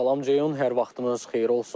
Salam Ceyhun, hər vaxtınız xeyir olsun.